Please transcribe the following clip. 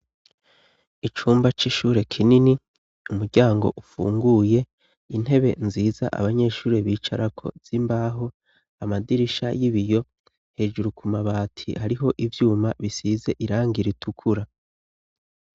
Icumba c'ishure kinini umuryango ufunguye intebe nziza abanyeshuri bicara ko zimbaho amadirisha y'ibiyo hejuru ku mabati hariho ibyuma bisize irangira itukura.